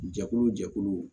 Jɛkulu jɛkuluw